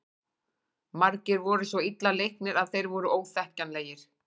Margir voru svo illa leiknir að þeir voru óþekkjanlegir.